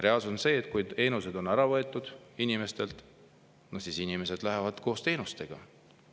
Reaalsus on see, et kui teenused on inimestelt ära võetud, siis inimesed lähevad koos teenustega.